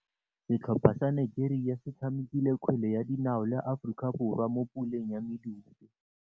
Setlhopha sa Nigeria se tshamekile kgwele ya dinaô le Aforika Borwa mo puleng ya medupe.